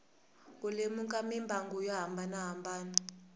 ku lemuka mimbangu yo hambanahambana